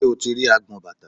Ṣé o ti rí agbọn bàtà?